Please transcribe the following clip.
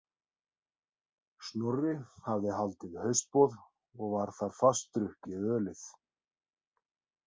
Snorri hafði haldið haustboð og var þar fast drukkið ölið.